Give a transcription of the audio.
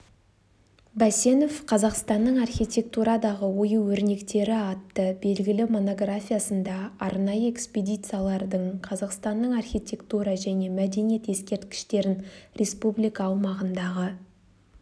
бәсенов қазақстанның архитектурадағы ою-өрнектері атты белгілі монографиясында арнайы экспедициялардың қазақстанның архитектура және мәдениет ескерткіштерін республика аумағындағы